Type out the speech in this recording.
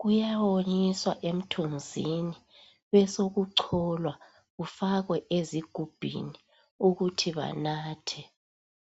kuyawonyiswa emthunzini besekucholwa kufakwe ezigubhini ukuthi banathe.